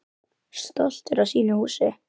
Stoltur af sínu húsi.